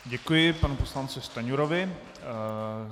Děkuji panu poslanci Stanjurovi.